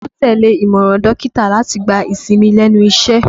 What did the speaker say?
Bólú tẹ́lẹ̀ ìmọ̀ràn dókítà láti gba ìsinmi lẹ́nu iṣẹ́